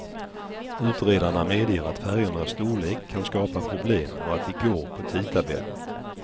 Utredarna medger att färjornas storlek kan skapa problem och att de går på tidtabell.